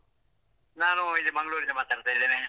ನಾನು ಇಲ್ಲಿ ಮಂಗಳೂರಿಂದ ಮಾತಾಡ್ತಿದ್ದೇನೆ.